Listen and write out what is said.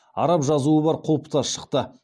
араб жазуы бар құлпытас шықты